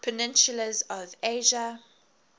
peninsulas of asia